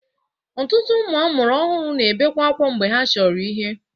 Ọtụtụ ụmụ amụrụ ọhụrụ na-ebebe akwa mgbe ha chọrọ ihe.